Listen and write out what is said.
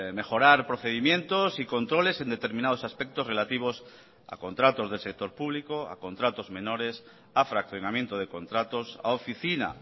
mejorar procedimientos y controles en determinados aspectos relativos a contratos del sector público a contratos menores a fraccionamiento de contratos a oficina